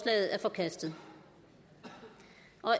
er forkastet